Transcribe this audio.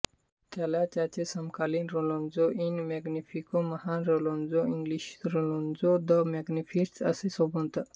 त्याला त्याचे समकालीन लॉरेंझो इल मॅग्निफिको महान लॉरेंझो इंग्लिशलॉरेंझो द मॅग्निफिसन्ट असे संबोधत